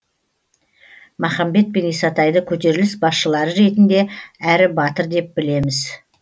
махамбет пен исатайды көтеріліс басшылары ретінде әрі батыр деп білеміз